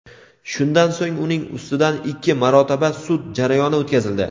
Shundan so‘ng uning ustidan ikki marotaba sud jarayoni o‘tkazildi.